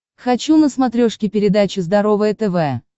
хочу на смотрешке передачу здоровое тв